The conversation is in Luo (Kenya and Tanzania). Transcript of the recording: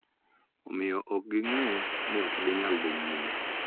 Omiyo, ok ging�e ni ok ginyal dhi nyime .